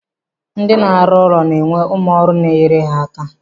Ndi na-arụ ụlọ na-enwe ụmụ ọrụ na enyere ha aka.